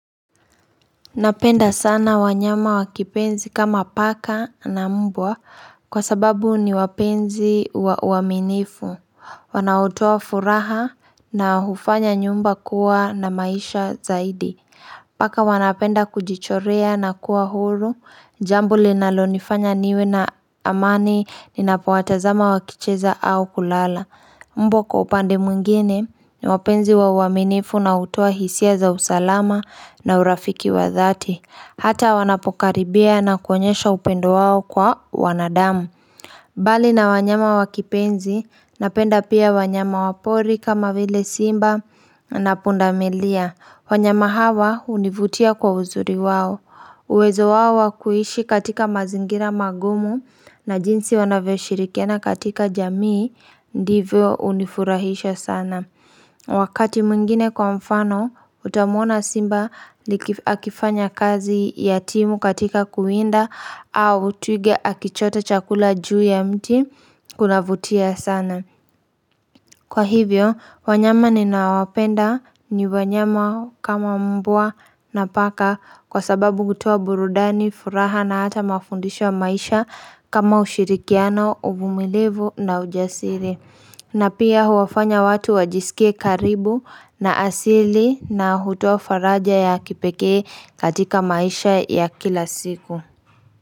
Napenda sana wanyama wa kipenzi kama paka na mbwa kwa sababu ni wapenzi wa uaminifu Wanaotoa furaha na hufanya nyumba kuwa na maisha zaidi Paka wanapenda kujichorea na kuwa huru jambo linalonifanya niwe na amani ninapowatazama wakicheza au kulala Mbwa kwa upande mwingine ni wapenzi wa uaminifu na hutoa hisia za usalama na urafiki wa dhati. Hata wanapokaribia na kuonyesha upendo wao kwa wanadamu. Bali na wanyama wa kipenzi napenda pia wanyama wa pori kama vile simba na pundamilia. Wanyama hawa hunivutia kwa uzuri wao. Uwezo wao wa kuishi katika mazingira magumu na jinsi wanavyo shirikiana katika jamii, ndivyo hunifurahisha sana. Wakati mwingine kwa mfano, utamuona simba akifanya kazi ya timu katika kuwinda au twiga akichota chakula juu ya mti kunavutia sana. Kwa hivyo, wanyama ninao wapenda ni wanyama kama mbwa na paka kwa sababu hutoa burudani, furaha na hata mafundisho wa maisha kama ushirikiano, uvumilivu na ujasiri. Na pia huwafanya watu wajisikie karibu na asili na hutoa faraja ya kipekee katika maisha ya kila siku.